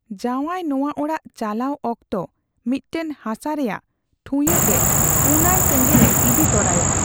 ᱡᱟᱣᱟᱭ ᱱᱚᱣᱟ ᱚᱲᱟᱜ ᱪᱟᱞᱟᱣ ᱚᱠᱛᱚ ᱢᱤᱫᱴᱟᱝ ᱦᱟᱥᱟ ᱨᱮᱭᱟᱜ ᱴᱷᱩᱭᱟᱹᱜ ᱨᱮ ᱯᱩᱱᱟᱹᱭ ᱥᱮᱸᱜᱮᱞᱼᱮ ᱤᱫᱤ ᱛᱚᱨᱟᱭᱟ ᱾